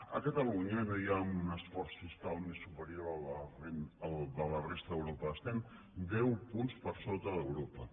a catalunya no hi ha un esforç fiscal superior al de la resta d’europa estem deu punts per sota d’europa